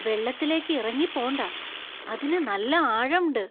വെള്ളത്തിലേക്ക് ഇറങ്ങി പോണ്ട. അതിന് നല്ല ആഴം ണ്ട്.